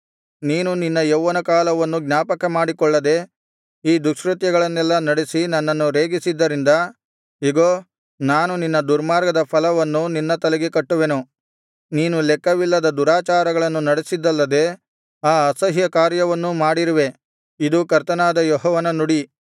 ನೀನು ನಿನ್ನ ಯೌವನ ಕಾಲವನ್ನು ಜ್ಞಾಪಕಮಾಡಿಕೊಳ್ಳದೆ ಈ ದುಷ್ಕೃತ್ಯಗಳನ್ನೆಲ್ಲಾ ನಡೆಸಿ ನನ್ನನ್ನು ರೇಗಿಸಿದ್ದರಿಂದ ಇಗೋ ನಾನು ನಿನ್ನ ದುರ್ಮಾರ್ಗದ ಫಲವನ್ನು ನಿನ್ನ ತಲೆಗೆ ಕಟ್ಟುವೆನು ನೀನು ಲೆಕ್ಕವಿಲ್ಲದ ದುರಾಚಾರಗಳನ್ನು ನಡೆಸಿದ್ದಲ್ಲದೆ ಈ ಅಸಹ್ಯ ಕಾರ್ಯವನ್ನೂ ಮಾಡಿರುವೆ ಇದು ಕರ್ತನಾದ ಯೆಹೋವನ ನುಡಿ